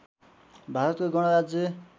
भारतको गणराज्य